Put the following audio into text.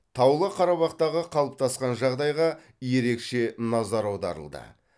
таулы қарабақтағы қалыптасқан жағдайға ерекше назар аударылды